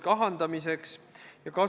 Kolm minutit lisaaega.